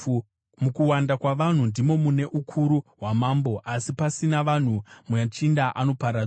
Mukuwanda kwavanhu ndimo mune ukuru hwamambo, asi pasina vanhu muchinda anoparadzwa.